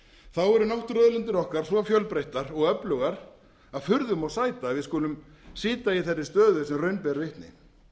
þá eru náttúruauðlindir okkar svo fjölbreyttar og öflugar að furðu má sæta að við skulum sitja í þeirri stöðu sem raun ber vitni